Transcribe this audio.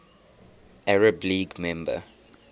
arab league member